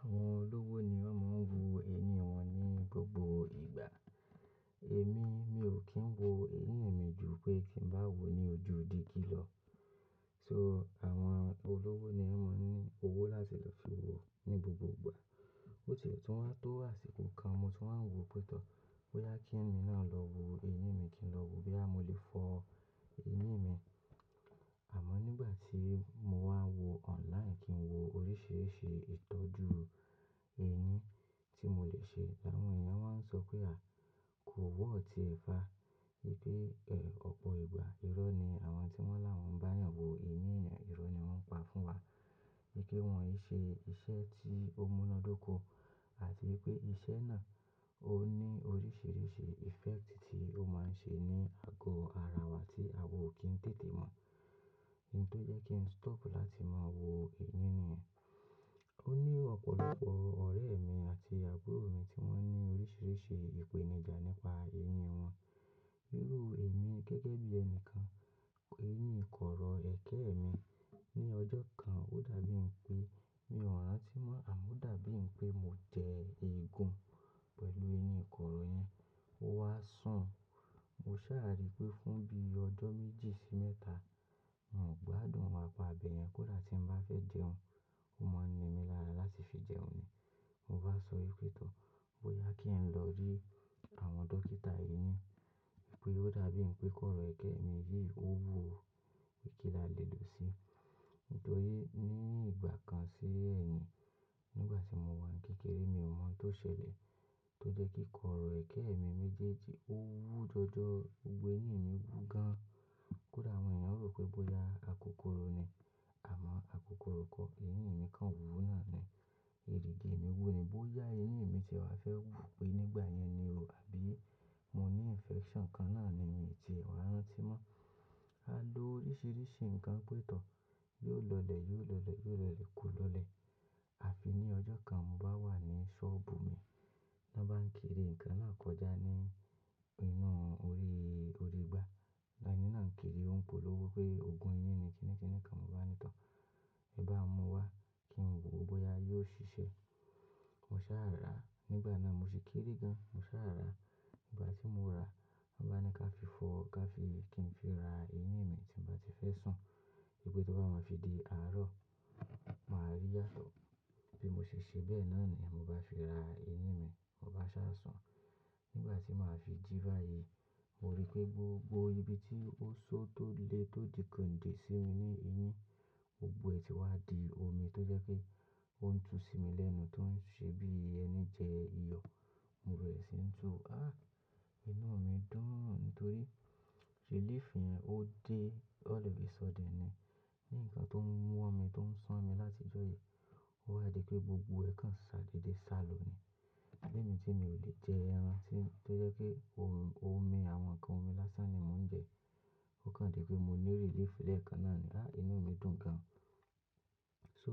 Àwọn olówó ni wọn máa ń wo eyín wọn ní gbogbo ìgbà. Èmi, mi ò kí ń wo eyín mi jù pé kí ń bá wò ní ojú dígí lọ. So àwọn olówó ni wọn máa ń ní owó láti lọ fi wo ní gbogbo ìgbà. Ó ti e tún wá tó àsìkò kan mo tún wá ń wo pé tọ̀, bóyá kí èmi náà lọ wo eyín mi kí ń lọ wo, boya mọ́lè fọ eyín mi. Àmọ́ nígbà tí mo wá wo online kí ń wo oríṣiríṣi ìtọ́jú eyín tí mo lè ṣe, àwọn èèyàn wá ń sọ pé a kò worth ẹ̀ fa. Pé ọ̀pọ̀ ìgbà irọ́ ni àwọn tí wọ́n làwọ́n bá'yàn wo eyín ènìyàn, irọ́ ni wọ́n pa fún wa. Wipẹ́ wọ́n í ṣe iṣẹ́ tí ó múnádóko àti wípé iṣẹ́ náà ó ní oríṣiríṣi effect tí ó máa ń ṣe ní àgọ ara wa tí àwò kì í tètè mọ̀. Ntò jẹ́ kí n stop láti máa wo eyín nìyen. Ó ní ọ̀pọ̀lọpọ̀ ọ̀rẹ́ mi àti àbúrò mi tí wọ́n ní oríṣiríṣi ìpèníjà nípa eyín wọn. Irú èmi gẹ́gẹ́ bí ẹnìkan, eyín ìkọ̀rọ̀ ẹ̀kẹ́ mi ní ọjọ́ kan ó dàbí pé mi ò rántí mọ́ àmọ́ o dàbí pé mo jẹ eegun pẹ̀lú eyín ìkọ̀rọ̀ yẹn. Ó wá sùn, mo sáà rí pé fún bí ọjọ́ méjì sí mẹ́ta n ò gbádùn apa bẹ̀yẹn. Kódà tí n bá fẹ́ jẹun, ó máa ń ni mí lára láti fi jẹun ni. Mo bá sọ ípé tọ̀, bóyá kí n lọ rí àwọn dókítà eyín. Wípé ó dàbí pé kọ̀rọ̀ ẹ̀kẹ́ mi yìí ó wú, kí ni a lè lò ó sí. Nítorí ní ìgbà kan sí ẹ̀yìn, nígbà tí mo wà ní kékeré mi ò mọ̀ tó ṣẹlẹ̀ tó jẹ́ kí kọ̀rọ̀ ẹ̀kẹ́ mi méjèèjì ó wú jọjọ. Gbogbo eyín mi wú gan-an. Kódà àwọn èèyàn rò pé bóyá akokoro ni, àmọ́ akokoro kọ́, eyín mi kan wú náà ni. Ẹ̀rìgì mi wú ni. Bóyá eyín mi ti wá fẹ́ wú pé nígbà yẹn ni o àbí mo ní infection kan náà ni mí tiè wa rántí mọ́. A lo oríṣiríṣi nǹkan pé tọ̀, yóò lọlẹ̀, yóò lọlẹ̀, yóò lọlẹ̀, kò lọlẹ̀. Àfi ní ọjọ́ kan mò bá wà ní sọ́ọ̀bù mi, wọ́n bá ń kiri nǹkan náà kọjá ní inú orí, orí igbá. Ẹ̀ní náà ń kiri, ó ń polówó pé oògùn eyín ni kìn-ìn-kìn-ìn kan, mo bá ní tọ̀, e bá n mú wá kí n wo bóyá yóò ṣiṣẹ́. Mo sáà rà á, nígbà náà mo sì kere gan, mo sáà rà á. Nígbà tí mo rà á, wọ́n bá ni ká fi fọ, ká fi kí n fi ra eyín mi tí n bá ti fẹ́ sùn. Wípé tó bá máa fi di àárọ̀, màá rí yátọ̀. Bí mo ṣe ṣe bẹ́ẹ̀ náà ni mò bá fi ra eyín mi, mo bá sáà sùn. Nígbà tí màá fi jí báyìí, mo rí pé gbogbo ibi tí ó ṣó tó le tó di kòǹdè sí mi ní eyín, gbogbo ẹ̀ ti wá di omi tó jẹ́ pé ó ń tu sí mi lẹ́nu tó ń ṣe bí eni jẹ iyọ̀. Mo bẹ́re sí ń tu, ah inú mi dùn nítorí relief yẹn ó dé, all of a sudden ni. Ni nǹkan tó ń wọmi tó ń sánmi láti ìjọ yìí, ó wa di pé gbogbo ẹ̀ kan ṣàdeedé sálò ni. Lémi tí mi ò lè jẹ ẹran tí tó jẹ́ pé ómi àwọn ǹkan omi lásán ni mò ń jẹ. Ó kan jé pé mo ní relief lẹ́ẹ̀kan náà ni. Ah inú mi dùn gan. So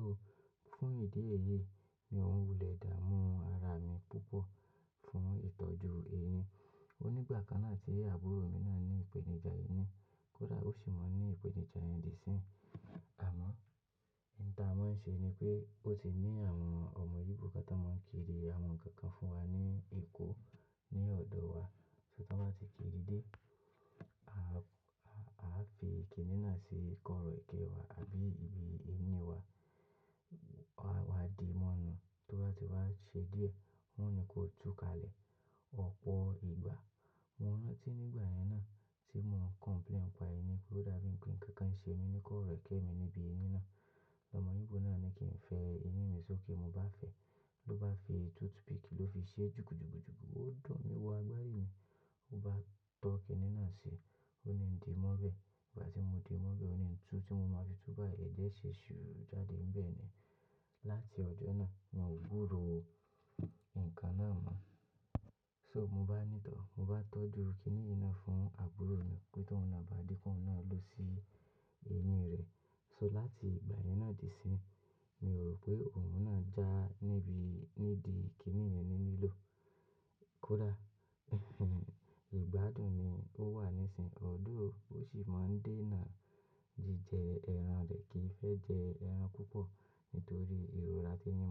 fún ìdí èyí mi òn wulẹ̀ dààmú́ ara mi púpọ̀ fún ìtọ́jú eyín. Ó ní ìgbà kan náà tí àbúrò mi náà ní ìpèníjà eyín, kódà ó sì máa ń ní ìpèníjà eyín di sí. Àmọ́, ìta mó ń ṣe ni pé ó ti ní àwọn ọ̀mọ̀ Yorùbá kan tó máa ń kiri àwọn ǹkan kan fún wa ní Èkó ní ọ̀dọ̀ wa. Ti wọ́n bá ti kiri dé, a fi kìnì náà sí kọ̀rọ̀ ẹ̀kẹ́ wa àbí ibi eyín wa, a wá di mọ́nu tó bá ti wá ṣẹ́ díẹ̀, wọ́n ni kó túkalẹ̀ ọ̀pọ̀ ìgbà. Mo rántí nígbà yẹn náà tí mò ń complain n'pa eyín pé ó dàbí pé ǹkan kan ṣe mi ní kọ̀rọ̀ ẹ̀kẹ́ mi níbi eyín náà. Ọ̀mọ̀ ibò náà ni kí n fẹ eyín mi sókè, mo bá fẹ́, ló bá fi toothpick ló fi ṣe jùkùjùkùjùkù, ó dùn mí wọ agbáyé ni. Ó bá tọ́ kìnì náà sí, ó ni ń di mọ́bẹ̀. Ìgbà tí mo di mọ́bẹ̀, ó ni ń tu tí mo máa fi tú bá, ẹ̀jẹ́ ṣe ṣúruru jáde nbẹ́ẹ̀ ni. Láti ọjọ́ náà, mi ò gbúròó ǹkan náà mọ́. So mò bá ní tọ̀, mò bá tọ́jú kìnì yi náà fún àbúrò mi pé tòun náà bá dé kóun na ló sì eyín rẹ̀. So láti ìgbà yẹn náà di isinyí, mi rò pé òun náà já nídi kìnì yen ni nílò. Kódà ìgbádùn ni ó wà nísinsìnyí. Òun sì máa ń dènà jíjẹ ẹran rẹ̀ kì í fẹ́ jẹ ẹran púpọ̀ nítorí ìrora tí eyín.